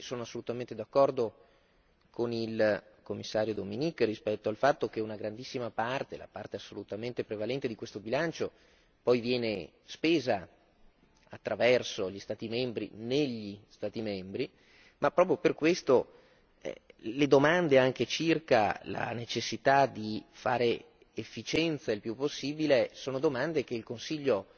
sono assolutamente d'accordo con il Commissario Dominik rispetto al fatto che una grandissima parte, la parte assolutamente prevalente di questo bilancio poi viene spesa attraverso gli Stati membri negli Stati membri, ma proprio per questo le domande circa la necessità di fare efficienza il più possibile sono domande che il Consiglio